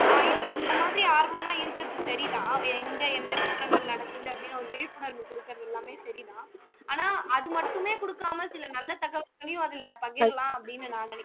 ஆஹ் இதுல இந்த மாதிரி ஆர்வம் எல்லாம் இருக்கிறது சரிதான் எங்க எந்த குற்றங்கள் நடக்குது அப்படின்னு ஒரு விழிப்புணர்வு குடுக்கறது எல்லாமே சரி தான் ஆனா அது மட்டுமே குடுக்காம சில நல்ல தகவல்களையும் அதுல பகிரலாம் அப்படின்னு நான் நினைக்கிறேன்